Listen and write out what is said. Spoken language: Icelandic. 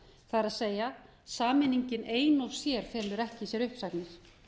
það er sameiningin ein og sér felur ekki í sér uppsagnir